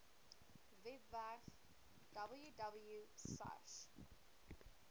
webwerf www sars